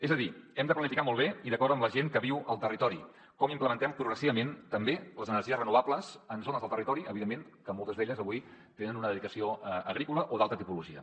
és a dir hem de planificar molt bé i d’acord amb la gent que viu al territori com implementem progressivament també les energies renovables en zones del territori evidentment que moltes d’elles avui tenen una dedicació agrícola o d’altra tipologia